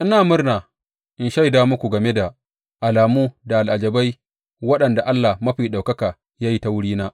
Ina murna in shaida muku game da alamu da al’ajabai waɗanda Allah Mafi Ɗaukaka ya yi ta wurina.